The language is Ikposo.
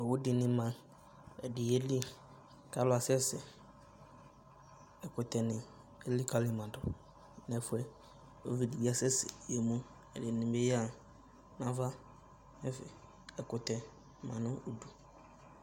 Owu de ne ma, ɛde yeli ka alu asɛsɛ Ɛkutɛ ne elikali ma du nɛfiɛUvi de be asɛsɛ ye muƐdene be ya nava nɛfɛ Ɛkutɛ ma no udu